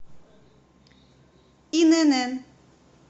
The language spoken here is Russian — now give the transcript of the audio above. инн